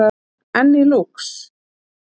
Enn í Lúx